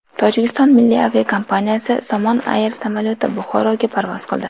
Tojikiston milliy aviakompaniyasi Somon Air samolyoti Buxoroga parvoz qildi.